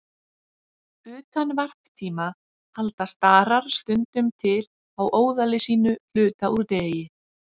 Utan varptíma halda starar stundum til á óðali sínu hluta úr degi.